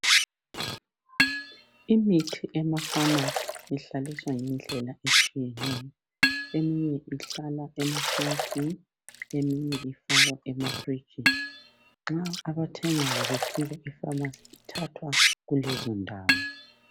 Imithi ema pharmacy ihlaliswa ngendlela etshiyeneyo eminye ihlala ema shelufini eminye ifakwa ema firijini nxa abathengayo befika epharmacy ithathwa kulezo ndawo.